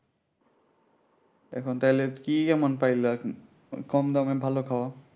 এখন তাইলে কি এমন পাইলা কম দামে ভালো খাওয়া